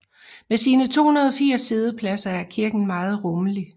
Med sine 280 siddepladser er kirken meget rummelig